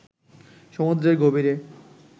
সমুদ্রের গভীরে